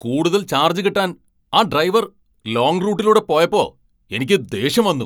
കൂടുതൽ ചാർജ് കിട്ടാൻ ആ ഡ്രൈവർ ലോങ്ങ് റൂട്ടിലൂടെ പോയപ്പോ എനിക്ക് ദേഷ്യം വന്നു.